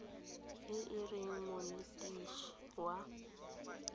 e e reng monetetshi wa